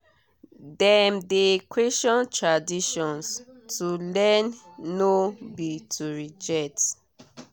dem de question tradition to learn no be to reject.